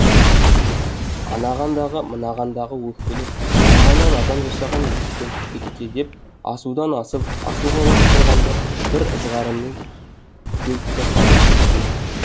анаған дағы мынаған дағы өкпелеп арманнан адам жасаған екем текке деп асудан асып ашуға басып тұрғанда бір ызғарменен келіп те қалдық бетпе бет